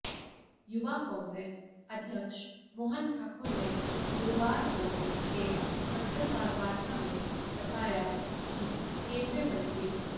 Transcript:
युवा कांग्रेस अध्यक्ष मोहन ठाकुर ने गुरुवार को एक पत्रकारवार्ता में बताया कि केंद्रीय मंत्री